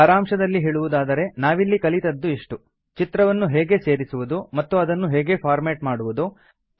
ಸಾರಾಂಶದಲ್ಲಿ ಹೇಳುವುದಾದರೆ ನಾವಿಲ್ಲಿ ಕಲಿತದ್ದು ಇಷ್ಟು ಚಿತ್ರವನ್ನು ಹೇಗೆ ಸೇರಿಸುವುದು ಮತ್ತು ಅದನ್ನು ಹೇಗೆ ಫಾರ್ಮೇಟ್ ಮಾಡುವುದು